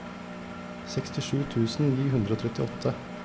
sekstisju tusen ni hundre og trettiåtte